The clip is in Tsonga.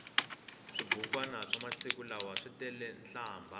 swibukwani swa masiku lawa switele nhlambha